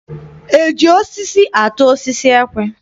E ji osisi atụ osisi ekwe?